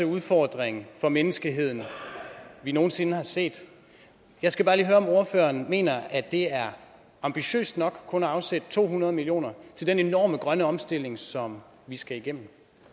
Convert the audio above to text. udfordring for menneskeheden vi nogen sinde har set jeg skal høre om ordføreren mener at det er ambitiøst nok kun at afsætte to hundrede million til den enorme grønne omstilling som vi skal igennem